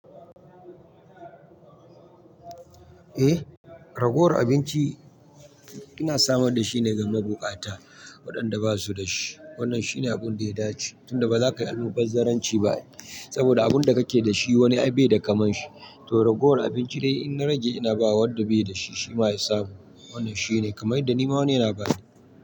Eh, ragowar abinci ina samar da shi ne ga mabukata waɗanda ba su da shi. Wannan shi ne abun da ya dace tunda ba za ka yi almubazzaranci ba saboda abun da kake da shi wani ai bai da kamar shi. To ragowar abinci dai in na rage ina bawa wanda bai da shi. Shi ma ya samu. Wannan shi ne kamar yadda ni ma wani yana bani.